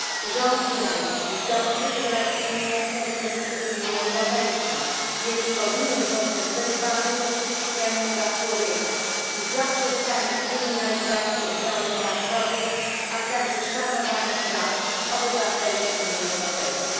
Rząd irański dąży do zacieśnienia stosunków z Unią Europejską, więc powinien zostać wezwany do przestrzegania praw człowieka, zaprzestania kryminalizacji obrony praw kobiet, a także szanowania praw obywateli Unii Europejskiej.